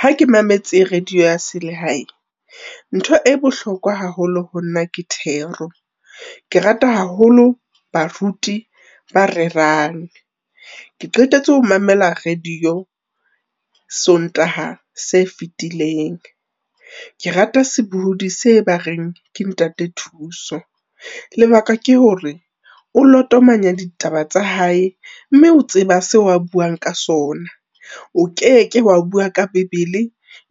Ha ke mametse radio ya se le hae, ntho e bohlokwa haholo ho nna ke thero, ke rata haholo baruti ba rerang. Ke qetetse ho mamela Radio Sontaha se fetileng, ke rata sebohodi se ba reng ke Ntate Thuso, lebaka ke hore o lotomanya ditaba tsa hae mme o tseba seo a buang ka sona, o keke wa bua ka Bebele,